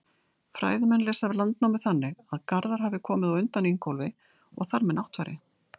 Fræðimenn lesa Landnámu þannig að Garðar hafi komið á undan Ingólfi og þar með Náttfari.